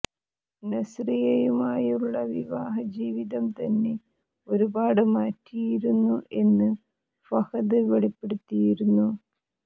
നസ്രിയയുമായുള്ള വിവാഹ ജീവിതം തന്നെ ഒരുപാട് മാറ്റിയിരുന്നു എന്ന് ഫഹദ് വെളിപ്പെടുത്തിയിരുന്നു